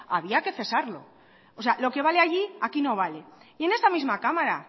había que cesarlo o sea lo que vale allí aquí no vale y en esta misma cámara